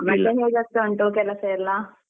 ಮತ್ತೆ ಹೇಗೆ ಆಗ್ತಾ ಉಂಟು ಕೆಲಸ ಎಲ್ಲ?